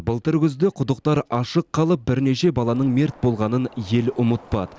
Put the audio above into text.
былтыр күзде құдықтар ашық қалып бірнеше баланың мерт болғанын ел ұмытпады